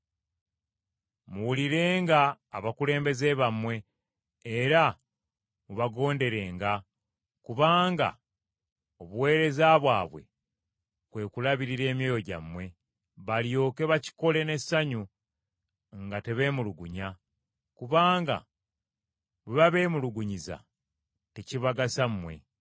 Muwulirenga abakulembeze bammwe era mubagonderenga, kubanga obuweereza bwabwe kwe kulabirira emyoyo gyammwe, balyoke bakikole n’essanyu nga tebeemulugunya. Kubanga bwe babeemulugunyiza tekibagasa mmwe.